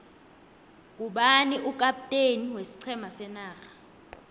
ngubani ukapteni weiqhema senarha